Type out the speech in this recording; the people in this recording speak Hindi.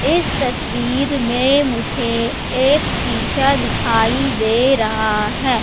इस तस्वीर में मुझे एक शिशा दिखाई दे रहा हैं।